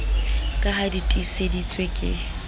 ka ha di tiiseditswe ke